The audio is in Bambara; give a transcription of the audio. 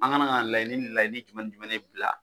An ka kan ka laɲini ni laɲini jumɛn bila.